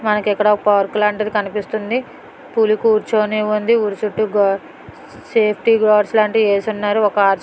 మనకి ఇక్కడ పార్క్ లాంటిది కనిపిస్తోంది పులి కూర్చొని ఉంది ఊరి చుట్టూ గార్డ్స్ సేఫ్టీ గార్డ్స్ లాంటివి వేసున్నారు ఒక ఆర్చ్ --